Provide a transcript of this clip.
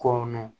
Kɔnɔn